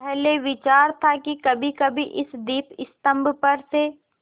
पहले विचार था कि कभीकभी इस दीपस्तंभ पर से